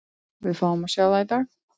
Við fáum að sjá það í dag.